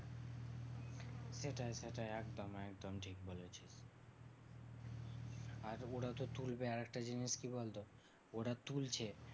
সেটাই সেটাই একদম একদম ঠিক বলেছিস। আর ওরা তো তুলবে আরেকটা জিনিস কি বলতো? ওরা তুলছে